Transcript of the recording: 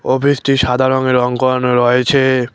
অফিসটি সাদা রঙে রং করানো রয়েছে।